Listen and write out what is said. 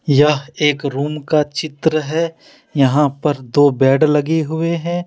यह एक रूम का चित्र है यहां पर दो बेड लगे हुए हैं।